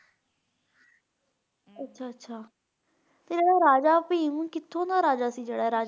ਅੱਛਾ-ਅੱਛਾ ਤੇ ਜਿਹੜਾ ਰਾਜ ਭੀਮ ਕਿਥੋਂ ਦਾ ਰਾਜਾ ਸੀ ਜਿਹੜਾ ਇਹ ਰਾਜਾ?